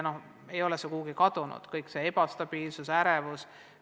Kogu see ebastabiilsus ja ärevus ei ole kuhugi kadunud.